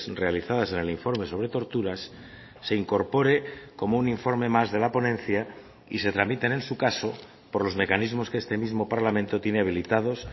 realizadas en el informe sobre torturas se incorpore como un informe más de la ponencia y se tramiten en su caso por los mecanismos que este mismo parlamento tiene habilitados